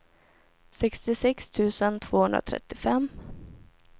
sextiosex tusen tvåhundratrettiofem